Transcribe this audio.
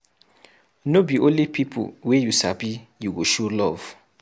No be only pipu wey you sabi you go show love.